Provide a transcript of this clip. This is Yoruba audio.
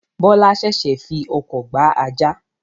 Bọlá sẹ̀sẹ̀ fii ọkọ̀ gba ajá